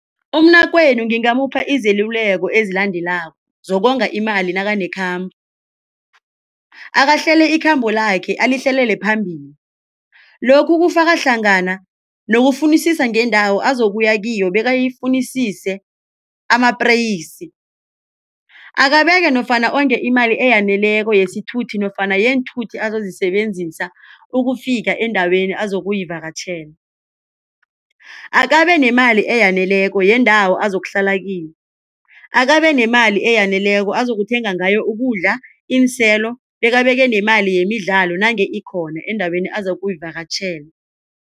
Umnakwenu ngingamupha izeluleko ezilandelako zokonga imali nakanekhambo. Akahlele ikhambo lakhe alihlelele phambili lokhu kufaka hlangana nokufunisisa ngeendawo azokuya kiyo bekayifunisise amapreyisi. Akabeke nofana onge imali eyaneleko yesithuthi nofana yeenthuthi azozisebenzisa ukufika endaweni azokuyivakatjhela. Akabe nemali eyaneleko yendawo azokuhlala kiyo. Akabe nemali eyaneleko ozokuthenga ngayo ukudla, iinselo bekabeke nemali yemidlalo nange ikhona endaweni azokuyivakatjhela.